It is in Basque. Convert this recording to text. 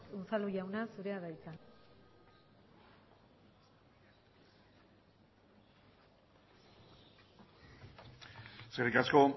unzalu jauna zurea da hitza eskerrik asko